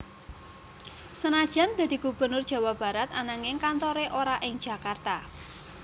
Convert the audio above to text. Senajan dadi Gubernur Jawa Barat ananging kantore ora ing Jakarta